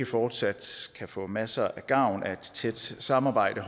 fortsat kan få masser af gavn af et tæt samarbejde